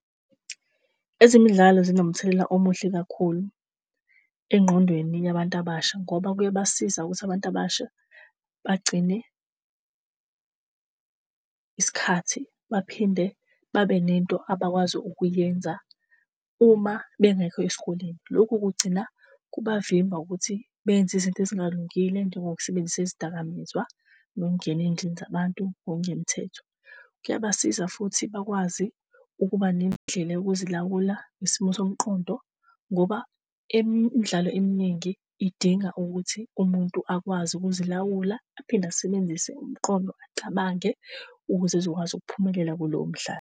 Ezemidlalo zinomthelela omuhle kakhulu engqondweni yabantu abasha ngoba kuyabasiza ukuthi abantu abasha bagcine isikhathi, baphinde babene nto abakwazi ukuyenza uma bengekho esikoleni. Lokhu kugcina kubavimba ukuthi benze izinto ezingalungile njengokusebenzisa izidakamizwa nokungena ezindlini zabantu ngokungemthetho. Kuyabasiza futhi bakwazi ukuba nendlela yokuzilawula ngesimo somqondo ngoba emidlalo eminingi idinga ukuthi umuntu akwazi ukuzilawula aphinde asisebenzise umqondo acabange ukuze ezokwazi ukuphumelela kulowo mdlalo.